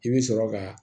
I bɛ sɔrɔ ka